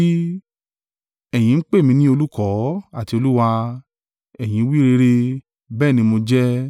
Ẹ̀yin ń pè mí ní ‘Olùkọ́’ àti ‘Olúwa,’ ẹ̀yin wí rere; bẹ́ẹ̀ ni mo jẹ́.